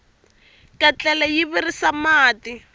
ketlele yi virisa mati